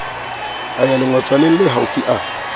a ya lengotswaneng lehaufi a